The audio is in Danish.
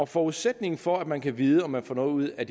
forudsætningen for at man kan vide om man får noget ud af